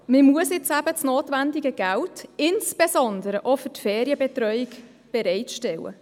Man muss jetzt das notwendige Geld, insbesondere auch für die Ferienbetreuung, bereitstellen.